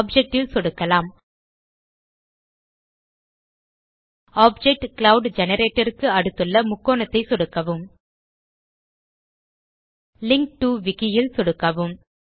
object ல் சொடுக்கலாம் Object cloud generator க்கு அடுத்துள்ள முக்கோணத்தை சொடுக்கவும் லிங்க் டோ விக்கி ல் சொடுக்கவும்